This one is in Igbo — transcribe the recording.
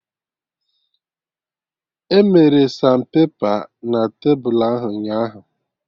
Emere sanpepa na tebulu ahụ ụnyaahụ